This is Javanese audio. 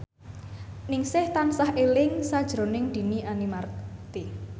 Ningsih tansah eling sakjroning Dhini Aminarti